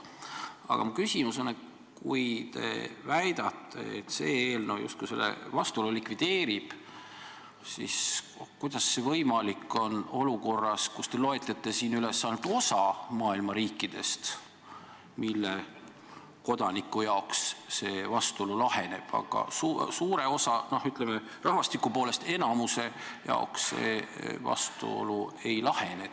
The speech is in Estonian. Aga minu küsimus on selline, et kui te väidate, et see eelnõu selle vastuolu justkui likvideerib, siis kuidas see võimalik on olukorras, kus te loete üles ainult osa maailma riike, mille kodanike jaoks see vastuolu laheneb, aga suure osa, rahvastiku poolest enamiku jaoks see vastuolu ei lahene.